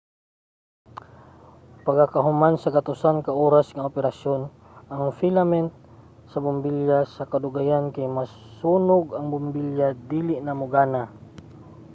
pagakahuman sa gatusan ka oras nga operasyon ang filament sa bombilya sa kadugayan kay masunog ug ang bombilya dili na mogana